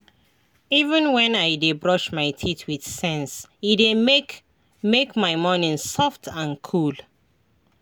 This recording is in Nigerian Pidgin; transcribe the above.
as i dey waka i dey try dey mindful of each step — e dey help me calm down well.